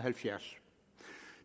halvfjerds